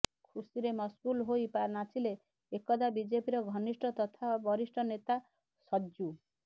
ଖୁସିରେ ମସଗୁଲ ହୋଇ ନାଚିଲେ ଏକଦା ବିଜେପିର ଘନିଷ୍ଠ ତଥା ବରିଷ୍ଠ ନେତା ସର୍ଯ୍ୟୁ